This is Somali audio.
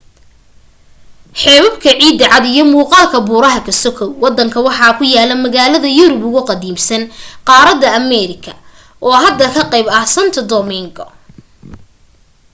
xeebabka ciida cad iyo muuqaalka buuraha ka sokow wadanka waxaa ku yaala magaalada yurub ugu qadiimsan qaarada america oo hadda ka qayb ah santo domingo